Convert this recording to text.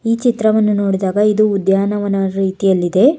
ಈ ಚಿತ್ರವನ್ನು ನೋಡಿದಾಗ ಇದು ಉದ್ಯಾನವನದ ರೀತಿಯಲ್ಲಿದೆ.